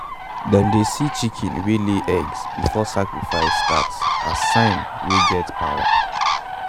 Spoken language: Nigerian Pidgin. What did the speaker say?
them dey see chicken wey lay eggs before sacrifice start as sign wey get power.